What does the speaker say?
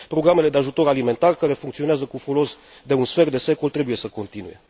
Programele de ajutor alimentar care funcționează cu folos de un sfert de secol trebuie să continue.